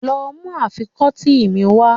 Lọ mú àfikọ́tí mi wá.